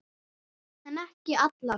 En ekki allar.